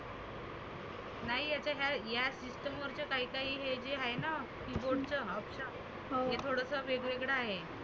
नाही येते काय या system वरती काही काही हे जे आहेना keyboard चं option हे थोडसं वेग वेगळ आहे.